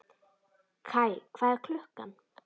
Kaj, hvað er klukkan?